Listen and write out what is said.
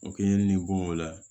O k'i ye nin bonya